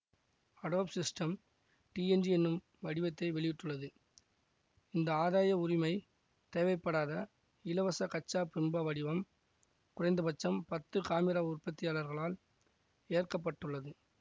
Adobe Systems DNG என்னும் வடிவத்தை வெளியிட்டுள்ளது இந்த ஆதாய உரிமை தேவைப்படாத இலவச கச்சா பிம்ப வடிவம் குறைந்த பட்சம் பத்து காமிரா உற்பத்தியாளர்களால் ஏற்கப்பட்டுள்ளது